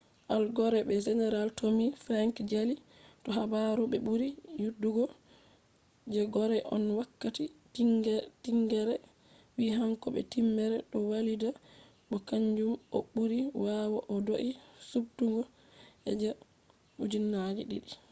al gore be general tommy franks jali do habaru be buri yidugo je gore on wakkati tingere vi hanko be tipper do walida bo kanjum on buri bawo o do’i subtugo je 2000